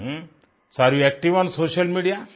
so you are active on social media